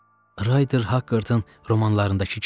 Rayder Hakkartın romanlarındakı kimi.